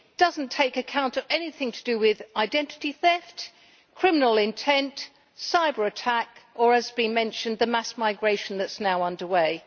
It does not take account of anything to do with identity theft, criminal intent, cyber attacks or, as has been mentioned, the mass migration that is now underway.